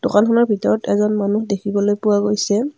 দোকানখনৰ ভিতৰত এজন মানুহ দেখিবলৈ পোৱা গৈছে।